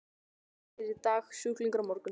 Læknir í dag, sjúklingur á morgun.